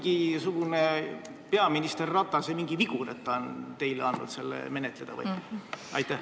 Kas see on mingisugune peaminister Ratase vigur, et ta on teile selle menetleda andnud?